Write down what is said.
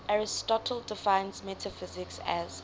aristotle defines metaphysics as